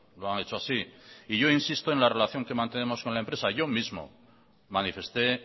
lo han hecho así y yo insisto en la relación que mantenemos con la empresa yo mismo manifesté